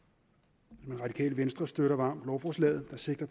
mange radikale venstre støtter varmt lovforslaget der sigter